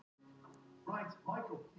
Hagar til sölu